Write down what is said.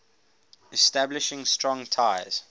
establishing strong ties